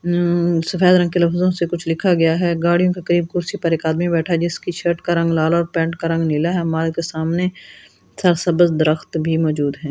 हम्म सफेद रंग के लफ्जो से कुछ लिखा गया हैं गाड़ियों के कई कुर्सी पर एक आदमी बैठा हैं जिसकी शर्ट का रंग लाल और पैन्ट का रंग नीला हैं हमारे तो सामने स सबज दरख़्त भी मौजूद हैं।